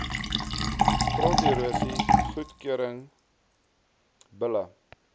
gronderosie goedgekeurde bulle